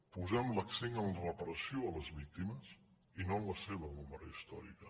posem l’accent en la reparació de les víctimes i no en la seva memòria històrica